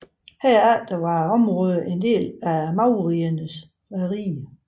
Herefter var området en del af maurernes rige